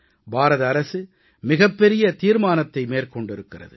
பாரத அரசு மிகப் பெரிய தீர்மானத்தை மேற்கொண்டிருக்கிறது